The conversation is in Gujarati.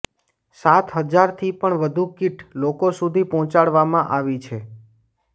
સાત હજારથી પણ વધુ કીટ લોકો સુધી પહોંચાડવામાં આવી છે